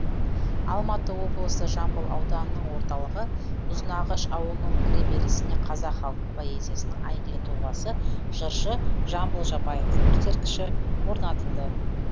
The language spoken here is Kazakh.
алматы облысы жамбыл ауданының орталығы ұзынағаш ауылының кіреберісіне қазақ халық поэзиясының әйгілі тұлғасы жыршы жамбыл жабаевтың ескерткіші орнатылды